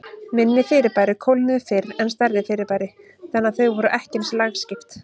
Minni fyrirbæri kólnuðu fyrr en stærri fyrirbæri, þannig að þau voru ekki eins lagskipt.